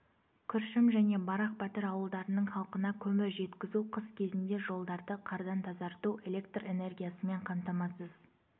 күршім және барақ батыр ауылдарының халқына көмір жеткізу қыс кезінде жолдарды қардан тазарту электр энергиясымен қамтамасыз